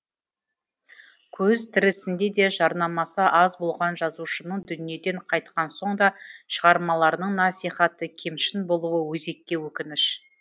көзі тірісінде де жарнамасы аз болған жазушының дүниеден қайтқан соң да шығармаларының насихаты кемшін болуы өзекке өкініш